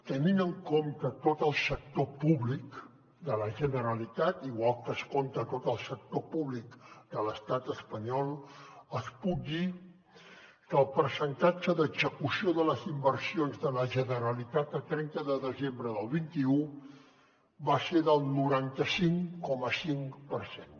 tenint en compte tot el sector públic de la generalitat igual que es compta tot el sector públic de l’estat espanyol els puc dir que el percentatge d’execució de les inversions de la generalitat a trenta de desembre del vint un va ser del noranta cinc coma cinc per cent